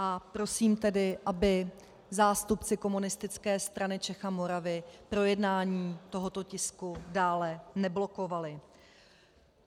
A prosím tedy, aby zástupci Komunistické strany Čech a Moravy projednání tohoto tisku dále neblokovali.